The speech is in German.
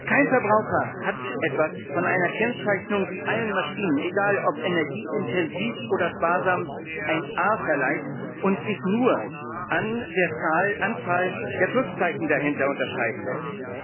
Kein Verbraucher hat etwas von einer Kennzeichnung, die allen Maschinen egal, ob energieintensiv oder sparsam ein A verleiht und sich nur an der Anzahl der Pluszeichen dahinter unterscheiden lässt.